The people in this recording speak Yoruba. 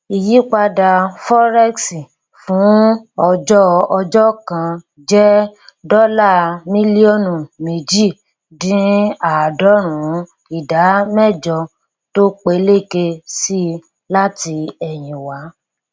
ìyípadà forex fún ọjọ ọjọ kan jẹ dọlà mílíọnù méjì dín àádọrùnún ìdá mẹjọ tó peléke si láti ẹyìn wá